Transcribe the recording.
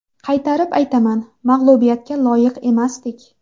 Qaytarib aytaman, mag‘lubiyatga loyiq emasdik.